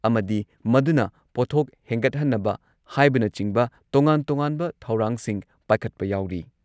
ꯑꯃꯗꯤ ꯃꯗꯨꯅ ꯄꯣꯠꯊꯣꯛ ꯍꯦꯟꯒꯠꯍꯟꯅꯕ ꯍꯥꯏꯕꯅꯆꯤꯡꯕ ꯇꯣꯉꯥꯟ-ꯇꯣꯉꯥꯟꯕ ꯊꯧꯔꯥꯡꯁꯤꯡ ꯄꯥꯏꯈꯠꯄ ꯌꯥꯎꯔꯤ ꯫